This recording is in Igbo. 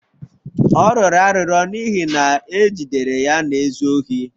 Ọ rịọrọ arịrịọ n'ihi na e jidere ya na-ezu ohi.